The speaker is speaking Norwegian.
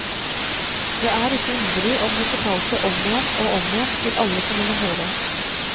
Det er ikke underlig om de fortalte om igjen og om igjen til alle som ville høre.